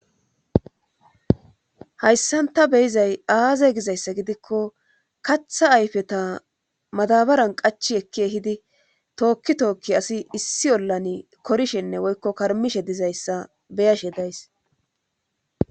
hayssan ta beyizay aaze gizayssa gidikko katha ayfeta madabaran qachi ekki ehidi tookki tookki asi issi ollan korshenne woykko karmishe dizayssa beyashe days